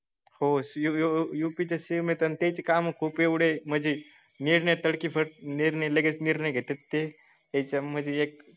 हो U U P S M हे त्याचे काम खूप एवढे म्हणजे ने तळप निर्णय लगेच निर्णय घेतात ते त्याच्या मध्ये